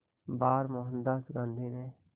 बार मोहनदास गांधी ने